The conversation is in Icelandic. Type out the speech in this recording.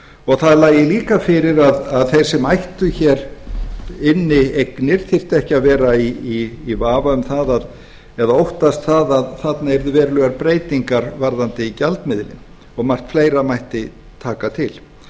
og það lægi líka fyrir að þeir sem ættu inni eignir þyrftu ekki að vera í vafa um það eða óttast að þarna yrðu verulegar breytingar varðandi gjaldmiðilinn og margt fleira mætti taka til